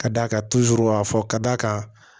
Ka d'a kan a fɔ ka d'a kan